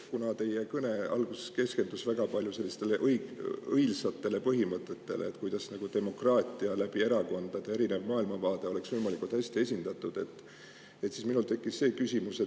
Kuna teie kõne algus keskendus väga palju sellistele õilsatele demokraatia põhimõtetele,, kuidas läbi erakondade erinevad maailmavaated oleksid võimalikult hästi esindatud, siis minul tekkis see küsimus.